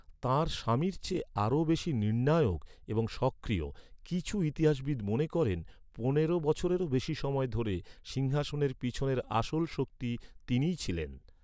তাঁর স্বামীর চেয়ে আরো বেশি নির্ণায়ক এবং সক্রিয়, কিছু ইতিহাসবিদ মনে করেন পনের বছরেরও বেশি সময় ধরে সিংহাসনের পিছনের আসল শক্তি তিনিই ছিলেন।